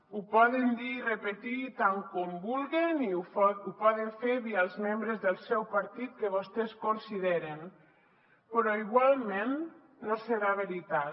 ho poden dir i repetir tant com vulguen i ho poden fer via els membres del seu partit que vostès consideren però igualment no serà veritat